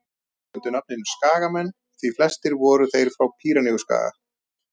þeir gengu undir nafninu skagamenn því flestir voru þeir frá pýreneaskaga